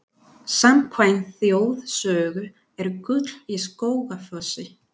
Samkvæmt þjóðsögu er gull í Skógafossi.